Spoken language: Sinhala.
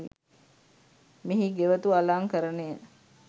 මෙහි ගෙවතු අලංකරණය